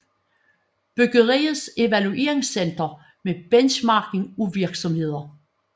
Byggeriets Evaluerings Center med benchmarking af virksomheder